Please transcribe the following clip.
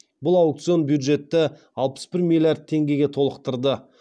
бұл аукцион бюджетті алпыс бір миллиард теңгеге толықтырды